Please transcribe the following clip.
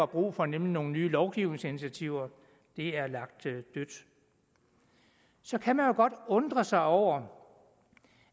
brug for nemlig nogle nye lovgivningsinitiativer er lagt dødt så kan man jo godt undre sig over